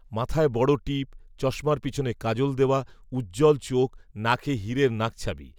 মাথায় বড় টিপ, চশমার পিছনে কাজল দেওয়া, উজ্জ্বল চোখ, নাকে, হিরের নাকছাবি